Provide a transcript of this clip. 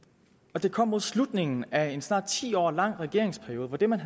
og det kom mod slutningen af en snart ti år lang regeringsperiode hvor det man